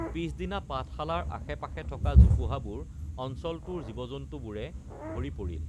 পিছদিনা পাঠশালাৰ আশে পাশে থকা জোপোহাবোৰ অঞ্চলটোৰ জীৱজন্তুবোৰে ভৰি পৰিল